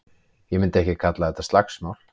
Ég myndi ekki kalla þetta slagsmál.